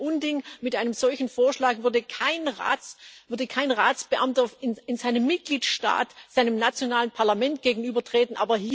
Das ist ein Unding. Mit einem solchen Vorschlag würde kein Ratsbeamter in seinem Mitgliedstaat seinem nationalen Parlament gegenübertreten.